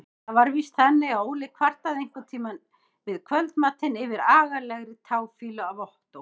Það var víst þannig að Óli kvartaði einhverntíma við kvöldmatinn yfir agalegri táfýlu af Ottó.